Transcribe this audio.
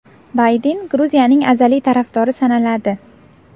Bayden Gruziyaning azaliy tarafdori sanaladi.